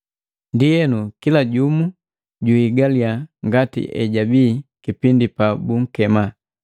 Ndienu, kila jumu juhigaliya ngati ejabii kipindi pabunkema.